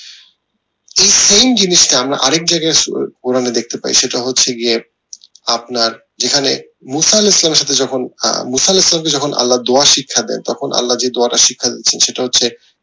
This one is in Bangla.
এই same জিনিসটা আমরা আরেক জায়গায় দেখতে পাই সেটা হচ্ছে গিয়ে আপনার যেখানে যখন যখন আল্লা দোয়ার শিক্ষা দেন তখন আল্লা যে দোয়াটা শিখান সেটা হচ্ছে